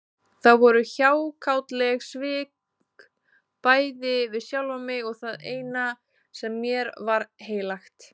Það voru hjákátleg svik, bæði við sjálfan mig og það eina sem mér var heilagt.